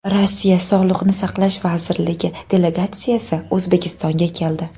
Rossiya sog‘liqni saqlash vazirligi delegatsiyasi O‘zbekistonga keldi.